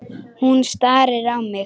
Hún starir á mig.